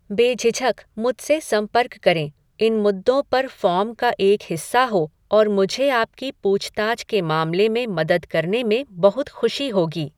बेझिझक मुझसे संपर्क करें इन मुद्दों पर फ़ॉर्म का एक हिस्सा हो और मुझे आपकी पूछताछ के मामले में मदद करने में बहुत खुशी होगी।